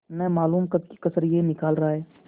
न मालूम कब की कसर यह निकाल रहा है